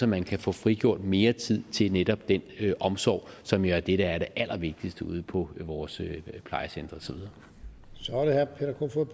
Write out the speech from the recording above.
man kan få frigjort mere tid til netop den omsorg som jo er det der er det allervigtigste ude på vores plejecentre